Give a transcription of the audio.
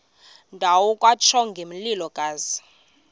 ndawo kwatsho ngomlilokazi